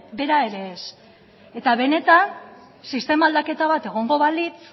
bera ere ez eta benetan sistema aldaketa bat egongo balitz